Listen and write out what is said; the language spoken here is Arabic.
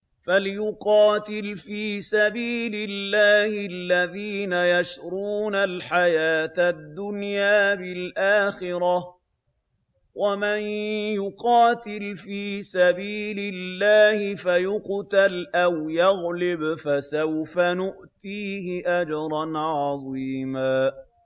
۞ فَلْيُقَاتِلْ فِي سَبِيلِ اللَّهِ الَّذِينَ يَشْرُونَ الْحَيَاةَ الدُّنْيَا بِالْآخِرَةِ ۚ وَمَن يُقَاتِلْ فِي سَبِيلِ اللَّهِ فَيُقْتَلْ أَوْ يَغْلِبْ فَسَوْفَ نُؤْتِيهِ أَجْرًا عَظِيمًا